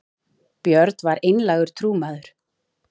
björn var einlægur trúmaður